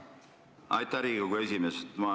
Aitäh, Riigikogu esimees!